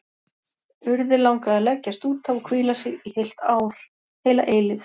Urði langaði að leggjast út af og hvíla sig, í heilt ár, heila eilífð.